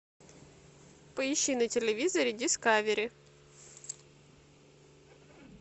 поищи на телевизоре дискавери